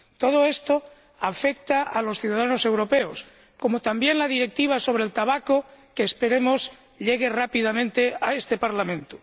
Todo esto afecta a los ciudadanos europeos, como también la Directiva sobre el tabaco, que esperemos llegue rápidamente a este Parlamento.